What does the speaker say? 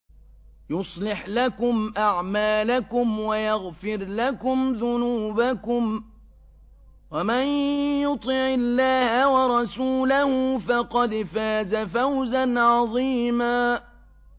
يُصْلِحْ لَكُمْ أَعْمَالَكُمْ وَيَغْفِرْ لَكُمْ ذُنُوبَكُمْ ۗ وَمَن يُطِعِ اللَّهَ وَرَسُولَهُ فَقَدْ فَازَ فَوْزًا عَظِيمًا